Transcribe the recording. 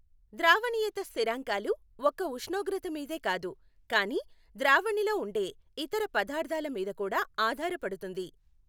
ద్రావణీయత స్థిరాంకాలు ఒక్క ఉష్ణోగ్రత మీదే కాదు కానీ ద్రావణిలో ఉండే ఇతర పదార్థాల మీద కూడా ఆధారపడుతుంది.